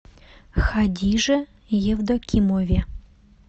хадиже евдокимове